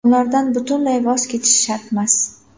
Ulardan butunlay voz kechish shartmas.